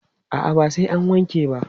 A'a, ba sai an wanke ba.